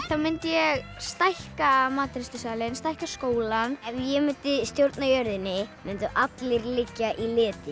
þá mundi ég stækka matreiðslusalinn stækka skólann ef ég mundi stjórna jörðinni mundu allir liggja í leti